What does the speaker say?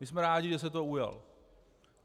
My jsme rádi, že se toho ujal.